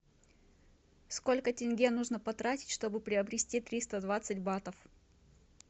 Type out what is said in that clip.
сколько тенге нужно потратить чтобы приобрести триста двадцать батов